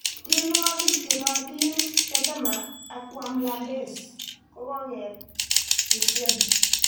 Tienwogik che nootin "tetema" ak "wamlambezi"kokeet kitien .